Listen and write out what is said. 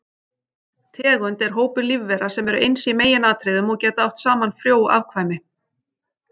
Tegund er hópur lífvera sem eru eins í meginatriðum og geta átt saman frjó afkvæmi.